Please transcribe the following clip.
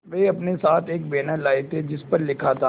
वे अपने साथ एक बैनर लाए थे जिस पर लिखा था